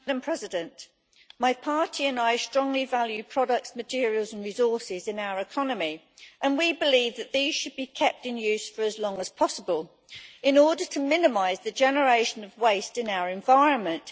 Madam President, my party and I strongly value products, materials and resources in our economy, and we believe that these should be kept in use for as long as possible in order to minimise the generation of waste in our environment.